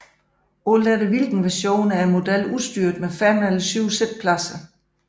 Alt efter version er modellen udstyret med fem eller syv siddepladser